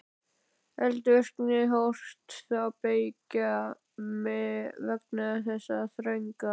Eldvirkni hófst þá beggja vegna þess þrönga